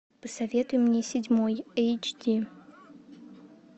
посоветуй мне седьмой эйч ди